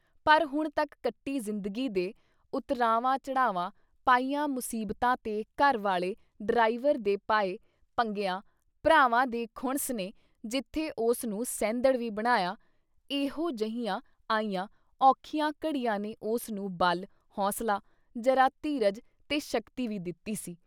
ਪਰ ਹੁਣ ਤੱਕ ਕੱਟੀ ਜ਼ਿੰਦਗੀ ਦੇ ਉਤਰਾਵਾਂ-ਚੜਾਵਾਂ, ਪਈਆਂ ਮੁਸੀਬਤਾਂ ਤੇ ਘਰ ਵਾਲੇ ਡਰਾਈਵਰ ਦੇ ਪਾਏ ਪੰਗਿਆਂ, ਭਰਾਵਾਂ ਦੀ ਖੁਣਸ ਨੇ ਜਿੱਥੇ ਉਸ ਨੂੰ ਸਹਿੰਦੜ ਵੀ ਬਣਾਇਆ, ਐਹੋ ਜਿਹੀਆਂ ਆਈਆਂ ਔਖੀਆਂ ਘੜੀਆਂ ਨੇ ਉਸਨੂੰ ਬਲ, ਹੌਂਸਲਾ, ਜਰਾ ਧੀਰਜ ਤੇ ਸ਼ਕਤੀ ਵੀ ਦਿੱਤੀ ਸੀ।